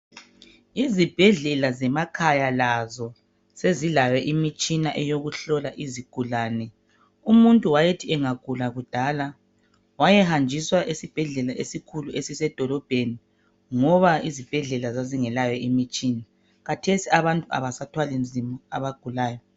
Izibhedlela zemakhaya lazo sezilayo imitshina eyokuhlola izigulane. umuntu wayethi engagula kudala wayehanjiswa esibhedlela esikhulu esisemadolobheni ngoba izibhedlela zazingelayo imitshina khathesi abantu abasathwali nzima abagulayo.